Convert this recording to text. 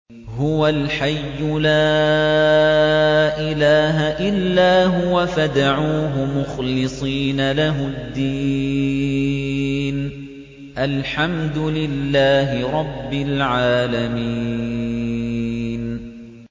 هُوَ الْحَيُّ لَا إِلَٰهَ إِلَّا هُوَ فَادْعُوهُ مُخْلِصِينَ لَهُ الدِّينَ ۗ الْحَمْدُ لِلَّهِ رَبِّ الْعَالَمِينَ